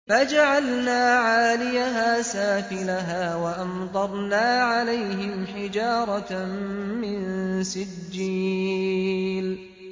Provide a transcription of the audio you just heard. فَجَعَلْنَا عَالِيَهَا سَافِلَهَا وَأَمْطَرْنَا عَلَيْهِمْ حِجَارَةً مِّن سِجِّيلٍ